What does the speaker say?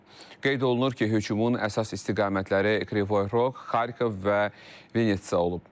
Qeyd olunur ki, hücumun əsas istiqamətləri Krivoy Roq, Xarkov və Vinitsa olub.